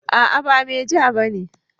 A'a ba meja bane